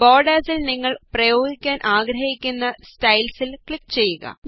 ബോര്ഡേര്സില് നിങ്ങള് പ്രയോഗിക്കുവാന് ആഗ്രഹിക്കുന്ന സ്റ്റൈല്സില് ക്ലിക് ചെയ്യുക